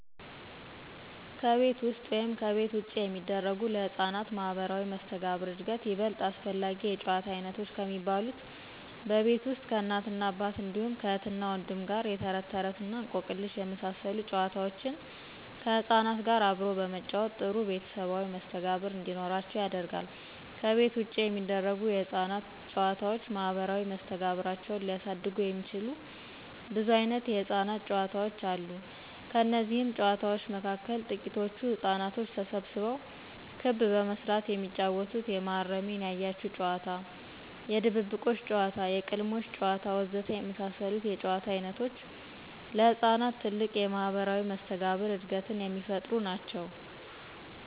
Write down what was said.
ከቤት ውስጥ ወይም ከቤት ውጭ የሚደረጉ ለሕፃናት ማህበራዊ መስተጋብር ዕድገት ይበልጥ አስፈላጊ የጨዋታ ዓይነቶች ከሚባሉት በቤት ውስጥ ከእናትና አባት እንዲሁም ከእህትና ወንድም ጋር የተረትተረት እና እንቆቅልሽ የመሳሰሉ ጨዋታዎችን ከሕፃናት ጋር አብሮ በመጫወት ጥሩ ቤተሰባዊ መስተጋብር እንዲኖራቸው ያደርጋል፤ ከቤት ውጭ የሚደረጉ የሕፃናት ጨዋታዎች ማህበራዊ መስተጋብራቸውን ሊያሳድጉ የሚችሉ ብዙ ዓይነት የሕፃናት ጨዋታዎች አሉ። ከነዚህም ጨዋታዎች መካከል ትቂቶቹ ሕፃናቶች ተሰብስበው ክብ በመስራት የሚጫወቱት የመሃረሜን ያያችሁ ጨዋታ፣ የድብብቆሽ ጨዋታ፣ የቅልሞሽ ጨዋታ ወዘተ የመሳሰሉት የጨዋታ ዓይነቶች ለሕፃናት ትልቅ የማህበራዊ መስተጋብር ዕድገትን የሚፈጥሩ ናቸው።